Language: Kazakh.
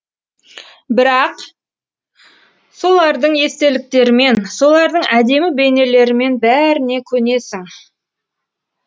бірақ солардың естеліктерімен солардың әдемі бейнелерімен бәріне көнесің